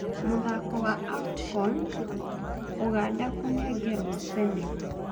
Mũthako wa AFCAON; Uganda kũnengerwo senegal